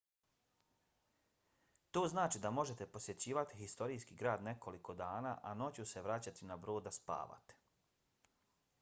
to znači da možete posjećivati historijski grad nekoliko dana a noću se vraćati na brod da spavate